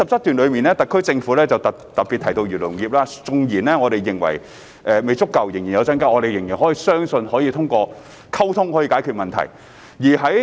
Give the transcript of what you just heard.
特區政府在第77段特別提到漁農業，縱然我們認為未足夠、有待增加，但仍相信可通過溝通解決問題。